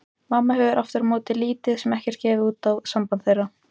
Mamma hefur aftur á móti lítið sem ekkert gefið út á samband þeirra.